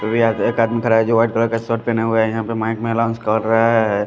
भी आज एक आदमी खड़ा है जो वाइट कलर का शर्ट पहना हुआ है यहाँ पे माइक में एलाउन्स कर रहा है ।